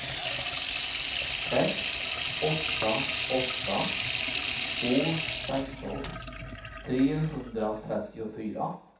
sex åtta åtta två sexton trehundratrettiofyra